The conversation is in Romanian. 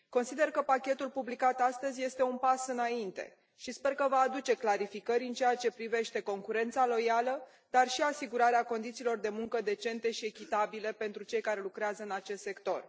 Consider că pachetul publicat astăzi este un pas înainte și sper că va aduce clarificări în ceea ce privește concurența loială dar și asigurarea condițiilor de muncă decente și echitabile pentru cei care lucrează în acest sector.